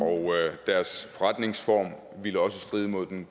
hvor